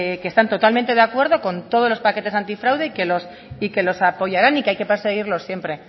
que están totalmente de acuerdo con todos los paquetes antifraude y que los apoyarán y que hay que perseguirlos siempre